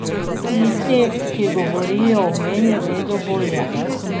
Tisti, ki govorijo o meni vedo bolje.